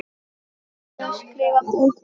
Ertu að skrifa bók núna?